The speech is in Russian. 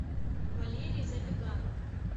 валерий забеганов